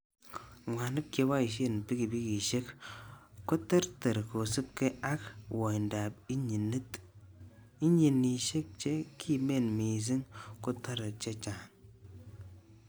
Mwanik cheboishen pikipikisiek, koterter kosibge ak woindab inyinit, inyinisiek che kimen missing kotore chechang.